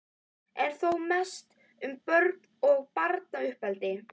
en þó mest um börn og barnauppeldi.